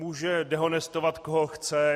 Může dehonestovat koho chce.